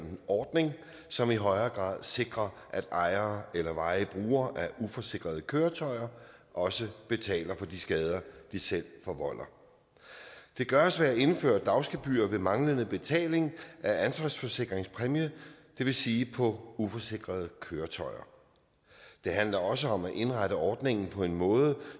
ordning som i højere grad sikrer at ejere eller varige brugere af uforsikrede køretøjer også betaler for de skader de selv forvolder det gøres ved at indføre dagsgebyrer ved manglende betaling af ansvarsforsikringspræmie det vil sige på uforsikrede køretøjer det handler også om at indrette ordningen på en måde